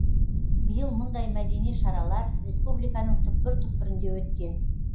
биыл мұндай мәдени шаралар республиканың түкпір түкпірінде өткен